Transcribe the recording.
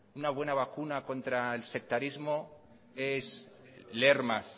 una buena vacuna contra el sectarismo es leer más